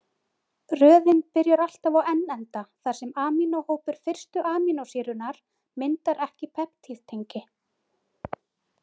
Röðin byrjar alltaf á N-enda þar sem amínóhópur fyrstu amínósýrunnar myndar ekki peptíðtengi.